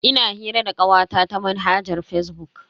Ina hira da kawata ta manhajar fazbuk.